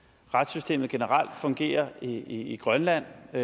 retssystemet generelt fungerer i grønland og